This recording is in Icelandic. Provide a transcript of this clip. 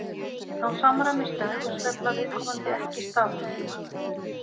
Þá samræmist dægursveifla viðkomandi ekki staðartíma.